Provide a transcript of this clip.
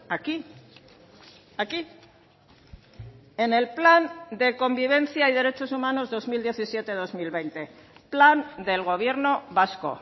aquí aquí en el plan de convivencia y derechos humanos dos mil diecisiete dos mil veinte plan del gobierno vasco